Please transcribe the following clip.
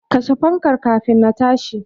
Kashe fankar kafin na tashi.